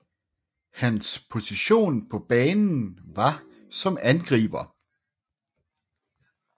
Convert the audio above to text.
Hans position på banen var som angriber